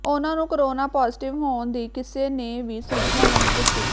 ਉਨ੍ਹਾਂ ਨੂੰ corona positive ਹੋਣ ਦੀ ਕਿਸੇ ਨੇ ਵੀ ਸੂਚਨਾ ਨਹੀਂ ਦਿੱਤੀ